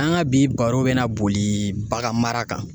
An ka bi baro bɛ na boli bagan mara kan.